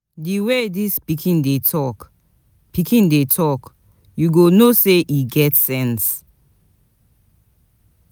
Di way dis pikin dey talk, pikin dey talk, you go know sey e get sense.